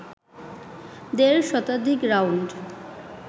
দেড় শতাধিক রাউন্ড